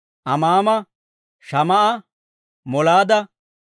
Amaama, Shamaa'a, Molaada,